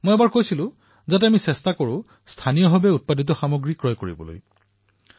মই এবাৰ কৈছিলো যে আমি স্থানীয় সামগ্ৰী ক্ৰয় কৰাৰ প্ৰয়াস কৰিব লাগে